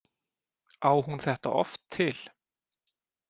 Á hún þetta oft til?